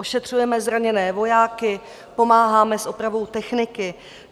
Ošetřujeme zraněné vojáky, pomáháme s opravou techniky.